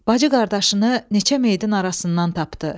Bacı qardaşını neçə meyidin arasından tapdı.